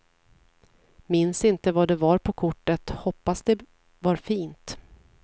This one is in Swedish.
Minns inte vad det var på kortet, hoppas det var fint.